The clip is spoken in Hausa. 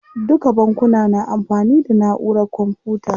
Duka bankuna na amfani da naʼurar kwamfuta.